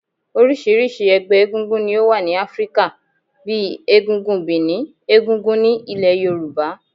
Orisirisi ẹgbẹ́ egúngún ni ó wà ní Áfríkà, bíi egúngún Benin, egúngún ní ilẹ̀ Yorùbá.